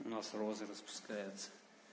у нас розы распускаются